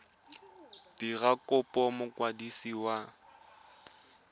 dira kopo go mokwadisi wa